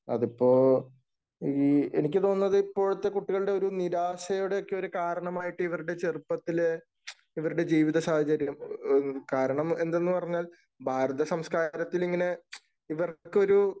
അതിപ്പോ, എനിക്ക് തോന്നുന്നത് ഇപ്പോഴത്തെ കുട്ടികളുടെ ഒരു നിരാശയുടെയൊക്കെ ഒരു കാരണമായിട്ട് ഇവരുടെ ചെറുപ്പത്തില് ഇവരുടെ ജീവിതസാഹചര്യം കാരണം എന്തെന്ന് പറഞ്ഞാൽ ഭാരത സംസ്കാരത്തിൽ ഇങ്ങനെ ഇവർക്കൊരു